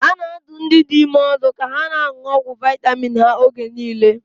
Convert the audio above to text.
A na-adụ ndị dị ime ọdụ ka ha na-aṅụ ọgwụ vitamin ha oge niile.